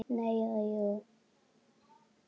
Nei. eða jú!